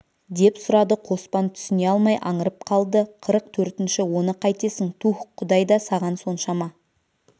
деп сұрады қоспан түсіне алмай аңырып қалды қырық төртінші оны қайтесің туһ құдай да саған соншама